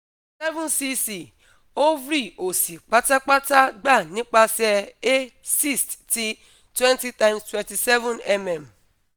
7cc ovary osi patapata gba nipasẹ a cyst ti 20x27mm